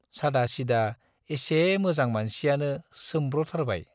सादा सिदा एसे मोजां मानसियानो सोम्ब्रथारबाय।